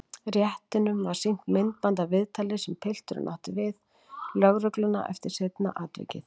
Réttinum var sýnt myndband af viðtali sem pilturinn átti við lögregluna eftir seinna atvikið.